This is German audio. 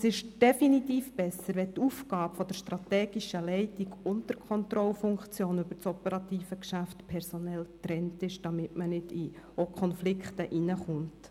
Es ist definitiv besser, wenn die strategische Leitung und die Kontrolle über das operative Geschäft personell getrennt sind, damit es nicht zu Konflikten kommt.